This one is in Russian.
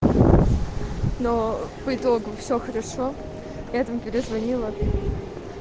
но по итогу все хорошо этом перезвонила